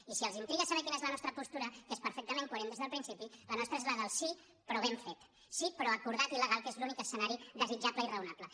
i si els intriga saber quina és la nostra postura que és perfectament coherent des del principi la nostra és la del sí però ben fet sí però acordat i legal que és l’únic escenari desitjable i raonable